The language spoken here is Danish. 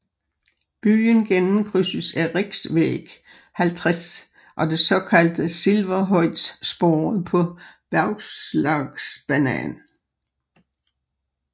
Byen gennemkrydses af Riksväg 50 og det såkaldte Silverhöjdsspåret på Bergslagsbanan